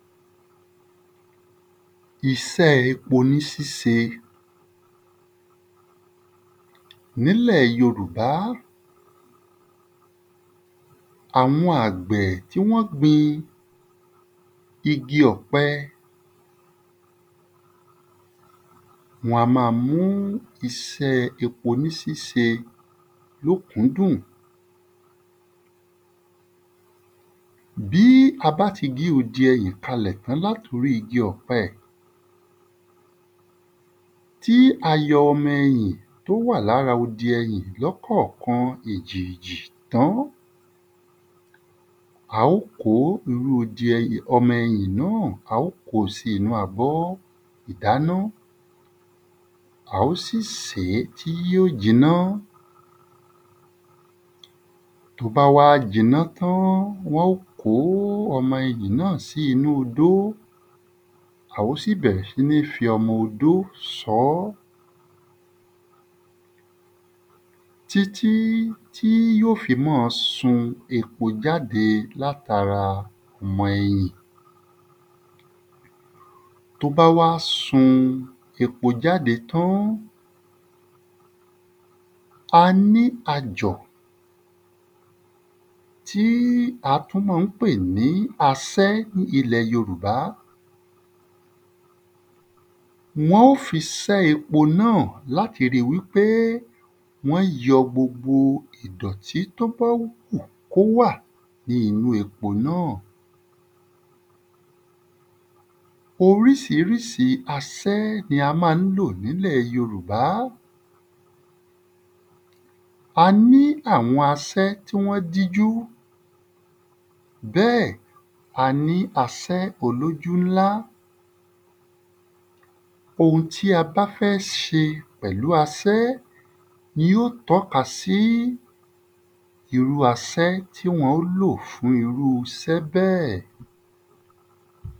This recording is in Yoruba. Isẹ́ epo ni síse N’ílẹ̀ yorùbá, àwọn àgbẹ̀ tí wọ́n gbin igi ọ̀pẹ wọn a mu isẹ́ epo ní síse l’ókúndùn Bí a bá ti gé odi ẹyìn kalẹ̀ l’át’orí igi ọ̀pẹ tí a yọ ọmọ ẹyìn t’ó wà l’ára odi ẹyìn l’ọ́kọ̀kan èjèèjì tán a o ko irú ọmọ ẹyìn náà a o ko sí inú abọ́ ìdáná. A o sì sèé tí yó jiná T’ó bá wá jiná tán, wọ́n ó kó ọmọ ẹyìn náà odó. A ó sì bẹ̀rẹ̀ sí f’ọmọ odó sọ ọ́ tí tí tí ó fi má a sun epo jáde l’at’ara ọmọ ẹyìn T’ó bá wá sun epo jáde tán, ta ní ajọ̀ tí a tú ma ń pè ní asẹ́ ilẹ̀ yorùbá wọ́n ó fi sẹ́ epo náà l’ati ri wí pé wọ́n yọ gbogbo ìdọ̀tí t’ó bá wù k’ó wà ní inú epo náà Orísirísi asẹ́ l’a má ń lò n’ílẹ̀ yorùbá. A ní àwọn asẹ́ tí wọ́n dí jú Bẹ́ẹ̀, a ní asẹ́ olójú ńlá. Ohun tí a bá fẹ́ ṣe pẹ̀lú asẹ́ ni ó t’ọ́kasí irú asẹ́ tí wọ́n ó lò fún irú isẹ́ bẹ́ẹ̀